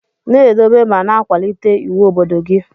Na edobe ma na akwalite iwu obodo gi.